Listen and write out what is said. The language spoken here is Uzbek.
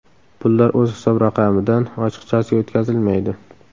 Pullar o‘z hisob-raqamidan ochiqchasiga o‘tkazilmaydi.